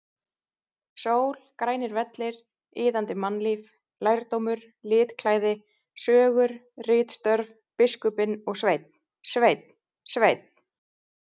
Sól, grænir vellir, iðandi mannlíf, lærdómur, litklæði, sögur, ritstörf, biskupinn og Sveinn, Sveinn, Sveinn!!!